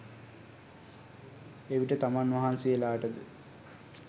එවිට තමන් වහන්සේලාට ද